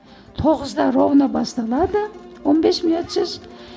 тоғызда ровно басталады он бес минутсыз